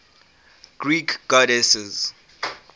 greek goddesses